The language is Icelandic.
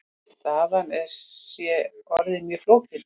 Staðan sé orðin mjög flókin.